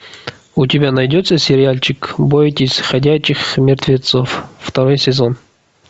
у тебя найдется сериальчик бойтесь ходячих мертвецов второй сезон